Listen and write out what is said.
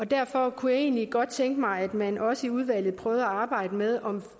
derfor kunne jeg egentlig godt tænke mig at man også i udvalget prøvede at arbejde med om